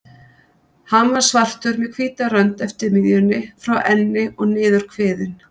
Hann var svartur með hvíta rönd eftir miðjunni, frá enni og niður kviðinn.